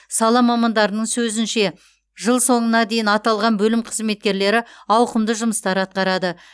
сала мамандарының сөзінше жыл соңына дейін аталған бөлім қызметкерлері ауқымды жұмыстар атқарады